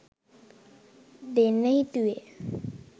දෙන්න හිතුවේ.